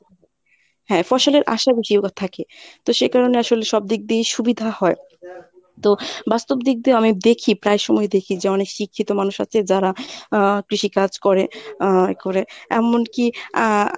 হ্যাঁ ফসলের আশা থাকে তো সে কারণেই আসলে সবদিক দিয়েই সুবিধা হয় তো বাস্তব দিক দিয়েও আমি দেখি প্রায় সময়ই দেখি যে অনেক শিক্ষিত মানুষ আছে যারা আহ কৃষি কাজ করে আহ করে এমনকি আহ